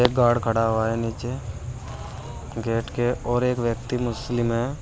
Guard खड़ा हुआ है नीचे गेट के और एक व्यक्ति मुस्लिम है।